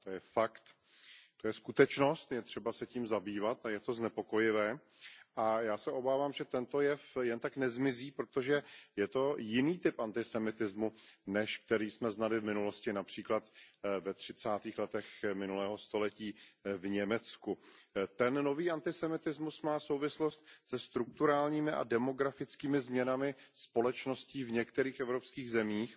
To je fakt, to je skutečnost, je třeba se tím zabývat a je to znepokojivé a já se obávám, že tento jev jen tak nezmizí, protože je to jiný typ antisemitismu, než který jsme znali z minulosti, například ve třicátých letech minulého století v Německu. Ten nový antisemitismus má souvislost se strukturálními a demografickými změnami společností v některých evropských zemích,